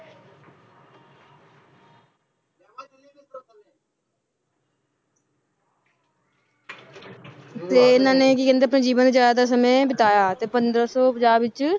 ਤੇ ਇਹਨਾਂ ਨੇ ਕੀ ਕਹਿੰਦੇ ਆਪਣਾ ਜੀਵਨ ਦਾ ਜ਼ਿਆਦਾਤਰ ਸਮੇਂ ਬਿਤਾਇਆ ਤੇ ਪੰਦਰਾਂ ਸੌ ਪੰਜਾਹ ਵਿੱਚ